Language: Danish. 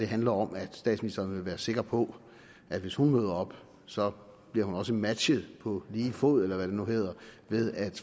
handler om at statsministeren vil være sikker på at hvis hun møder op så bliver hun også matchet på lige fod eller hvad det nu hedder ved at